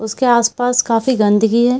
उसके आस-पास काफी गंदगी है।